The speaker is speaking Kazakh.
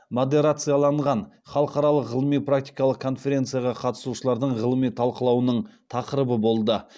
модерациялаған халықаралық ғылыми практикалық конференцияға қатысушылардың ғылыми талқылауының тақырыбы болды